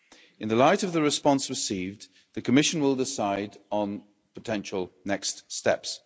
In the light of the response received, the Commission will decide on potential next steps.